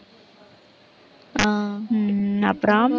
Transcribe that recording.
ஆஹ் ஹம் அப்புறம்